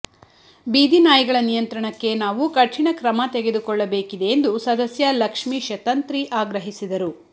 ಬೀದಿ ನಾಯಿಗಳ ನಿಯಂತ್ರಣಕ್ಕೆ ನಾವು ಕಠಿನ ಕ್ರಮ ತೆಗೆದುಕೊಳ್ಳಬೇಕಿದೆ ಎಂದು ಸದಸ್ಯ ಲಕ್ಷ್ಮೀಶ ತಂತ್ರಿ ಆಗ್ರಹಿಸಿದರು